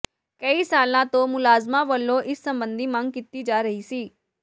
ਕਈ ਸਾਲਾਂ ਤੋਂ ਮੁਲਾਜ਼ਮਾਂ ਵੱਲੋਂ ਇਸ ਸਬੰਧੀ ਮੰਗ ਕੀਤੀ ਜਾ ਰਹੀ ਸੀ